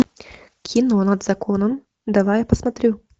кино над законом давай посмотрю